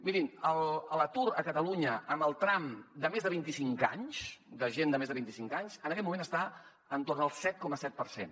mirin l’atur a catalunya en el tram de més de vint i cinc anys de gent de més de vint i cinc anys en aquest moment està entorn del set coma set per cent